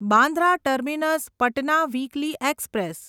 Bandra terminus Patna weekly express